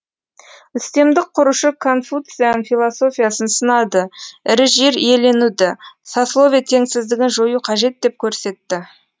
үстемдік құрушы конфуциан философиясын сынады ірі жер иеленуді сословие теңсіздігін жою қажет деп көрсетті